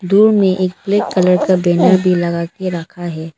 दूर में एक ब्लैक कलर का बैनर भी लगा के रखा है।